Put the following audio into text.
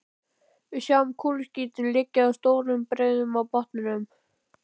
Við sjáum kúluskítinn liggja í stórum breiðum á botninum.